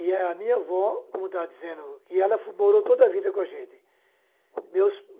E a minha avó, como eu estava dizendo, e ela morou toda a vida com a gente. Meus